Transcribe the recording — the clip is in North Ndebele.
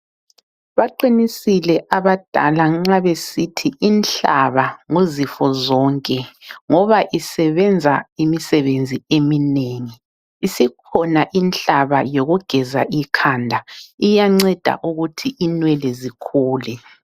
Baqinisile abadala nxa besithi inhlaba nguzifo zonke ngoba isebenza imisebenzi eminengi. Isikhona inhlaba yokugeza ikhanda, iyanceda ukuthi inwele zikhule.